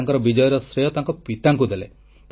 ସେ ତାଙ୍କର ବିଜୟର ଶ୍ରେୟ ତାଙ୍କ ପିତାଙ୍କୁ ଦେଲେ